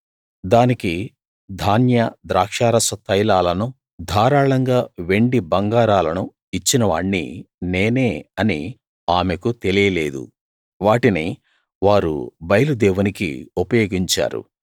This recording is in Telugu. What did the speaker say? దానికి ధాన్య ద్రాక్షారస తైలాలను ధారాళంగా వెండి బంగారాలను ఇచ్చినవాణ్ణి నేనే అని ఆమెకు తెలియలేదు వాటిని వారు బయలు దేవునికి ఉపయోగించారు